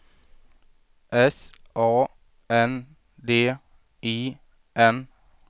S A N D I N